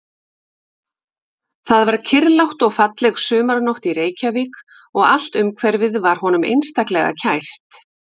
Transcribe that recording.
Það var kyrrlát og falleg sumarnótt í Reykjavík og allt umhverfið var honum einstaklega kært.